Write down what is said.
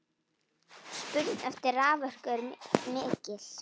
Spurn eftir raforku er mikil.